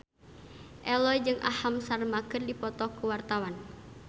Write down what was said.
Ello jeung Aham Sharma keur dipoto ku wartawan